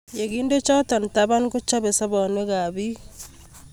Ye kinde choto taban, kochobei sobonwek ab biik